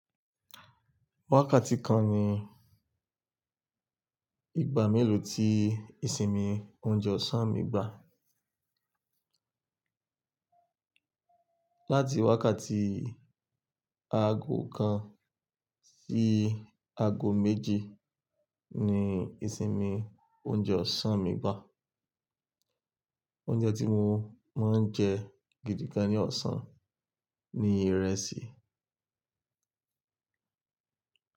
Wákàtí kan ni ìgbà mélòó tí ìsinmi oúnjẹ ọ̀sán mi gbà. Láti wákàtí aago kan sí aago méjì ni ìsinmi oúnjẹ ọ̀sán mi wá. Oúnjẹ tí mo, máa ń jẹ gidi gan ní ọ̀sán ni ìrẹsì.